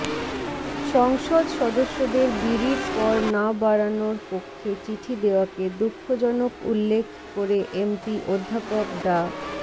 সংসদ সদস্যদের বিড়ির কর না বাড়ানোর পক্ষে চিঠি দেওয়াকে দুঃখজনক উল্লেখ করে এমপি অধ্যাপক ডা